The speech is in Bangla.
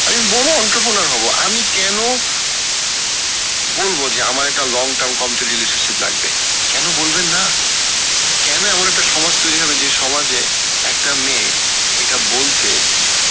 আমি বড়ো entrepreneur হবো আমি কেন বলবো যে আমার একটা long-term committed relationship লাগবে কেন বলবেন না? কেন এমন একটা সমাজ তৈরি হবে যে সমাজে একটা মেয়ে এটা বলতে